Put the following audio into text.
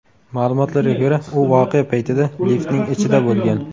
Ma’lumotlarga ko‘ra, u voqea paytida liftning ichida bo‘lgan.